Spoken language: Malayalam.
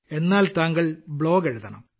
എന്നാൽ താങ്കൾ ബ്ലോഗ് എഴുതണം